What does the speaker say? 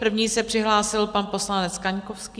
První se přihlásil pan poslanec Kaňkovský.